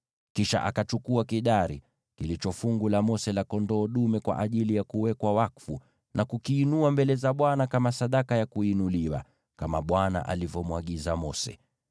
Kisha akachukua kidari, kilicho fungu la Mose la kondoo dume kwa ajili ya kuwekwa wakfu, na kukiinua mbele za Bwana kama sadaka ya kuinuliwa, kama Bwana alivyomwagiza Mose.